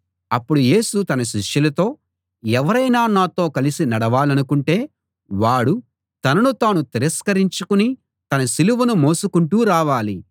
అప్పుడు యేసు తన శిష్యులతో ఎవరైనా నాతో కలిసి నడవాలనుకుంటే వాడు తనను తాను తిరస్కరించుకుని తన సిలువను మోసుకుంటూ రావాలి